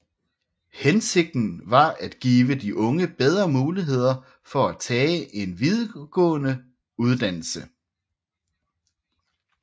Hensigten var at give de unge bedre muligheder for at tage en videregående uddannelse